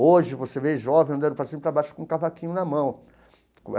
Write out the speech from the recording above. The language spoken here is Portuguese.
Hoje, você vê jovens andando para cima e para baixo com o cavaquinho na mão.